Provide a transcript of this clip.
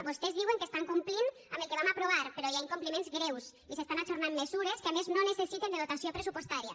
vostès diuen que estan complint amb el que vam aprovar però hi ha incompliments greus i s’estan ajornant mesures que a més no necessiten de dotació pressupostària